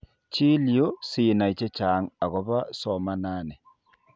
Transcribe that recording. Chil yu sinai chechang' akobo somanani.